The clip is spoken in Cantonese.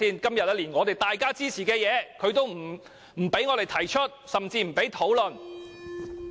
今天大家都一致支持的修正案，它也不容許我們提出甚至討論。